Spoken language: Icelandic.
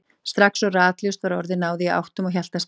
Strax og ratljóst var orðið náði ég áttum og hélt af stað.